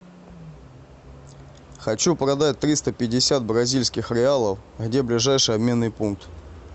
хочу продать триста пятьдесят бразильских реалов где ближайший обменный пункт